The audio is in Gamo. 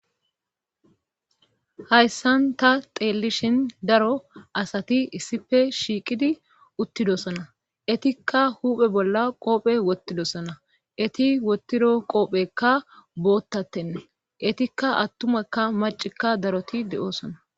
hayssan ta xeellishin daro asati issife shiiqidi uttidosona etikka huphe bolla qoophe wottidosona eti wottido qoophekka boottatenne etikka attumakka macikka daroti de7oosona